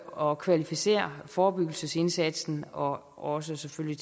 og kvalificere forebyggelsesindsatsen og også selvfølgelig